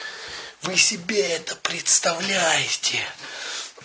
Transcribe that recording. вы себе это представляете